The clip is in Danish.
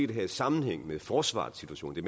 det her i sammenhæng med forsvarets situation det